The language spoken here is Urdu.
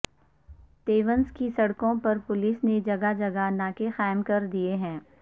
تیونس کی سڑکوں پر پولیس نے جگہ جگہ ناکے قائم کر دیے ہیں